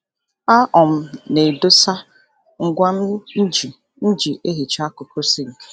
A um na m edosa ngwa mji mji ehicha akụkụ sinki